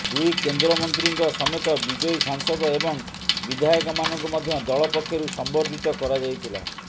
ଦୁଇ କେନ୍ଦ୍ରମନ୍ତ୍ରୀଙ୍କ ସମେତ ବିଜୟୀ ସାଂସଦ ଏବଂ ବିଧାୟକମାନଙ୍କୁ ମଧ୍ୟ ଦଳ ପକ୍ଷରୁ ସମ୍ବର୍ଦ୍ଧିତ କରାଯାଇଥିଲା